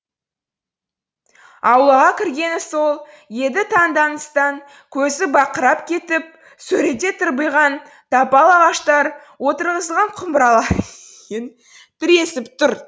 аулаға кіргені сол еді таңданыстан көзі бақырайып кетті сөреде тырбиған тапал ағаштар отырғызылған құмыралар иін тіресіп тұр